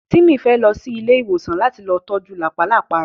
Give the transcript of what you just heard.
Tímì fẹ́ lọ sí ilé ìwòsàn láti lọ ojú làpálàpá rẹ